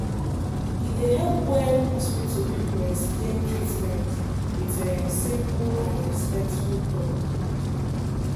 e dey help when hospital people explain treatment um with simple and respectful talk.